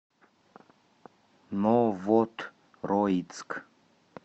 новотроицк